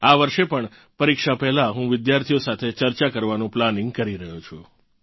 આ વર્ષે પણ પરીક્ષા પહેલાં હું વિદ્યાર્થીઓ સાથે ચર્ચા કરવાનું પ્લાનિંગ કરી રહ્યો છું